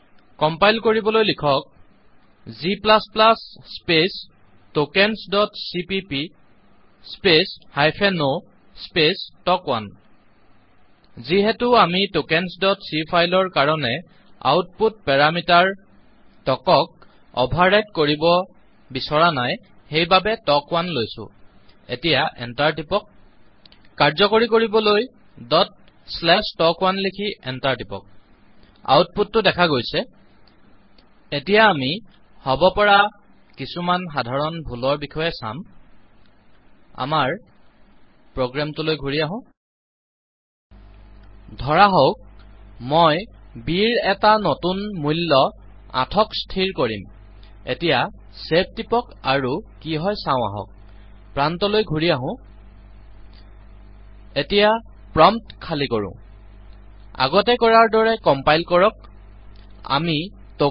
compile কৰিবলৈ লিখক g space tokens dot CPP space hyphen o space tok 1 যিহেতু আমি tokensচি ফাইল ৰ কাৰনে আউটপুট পেৰামিটাৰ তকক অভাৰ ৰাইট কৰিব বিচৰা নাইসেইবাবে টক1 লৈছো এতিয়া এন্টাৰ টিপক কাৰ্যকৰী কৰিবলৈ টক1 লিখি এন্টাৰ টিপক আউটপুট টো দেখা গৈছে এতিয়া আমি হব পৰা কিছুমান সাধাৰণ ভুলৰ বিষয়ে চাম আমাৰ প্ৰোগ্ৰাম টোলৈ ঘূৰি আহো ধৰাহওঁক মই ব ৰ এটা নতুন মূল্য ৮ ক স্থিৰ কৰিম এতিয়া ছেভ টিপক আৰু কি হয় চাওঁ আহক প্ৰান্তলৈ ঘূৰি আহো এতিয়া প্ৰম্পটখালি কৰো আগতে কৰাৰ দৰে কম্পাইল কৰক আমি টকেন্স